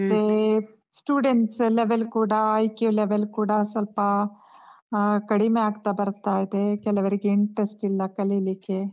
ಮತ್ತೇ students level ಕೂಡಾ, IQ ಕೂಡ ಸ್ವಲ್ಪಾ ಆಹ್ ಕಡಿಮೆ ಆಗ್ತಾ ಬರ್ತಾ ಇದೆ. ಕೆಲವರಿಗೆ interest ಇಲ್ಲಾ ಕಲೀಲಿಕ್ಕೆ.